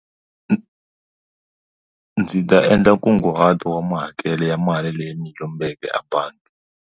Ndzi ta endla nkunguhato wa mahakelo ya mali leyi ni lombeke abangi.